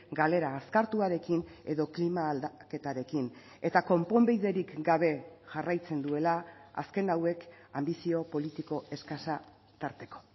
galera azkartuarekin edo klima aldaketarekin eta konponbiderik gabe jarraitzen duela azken hauek anbizio politiko eskasa tarteko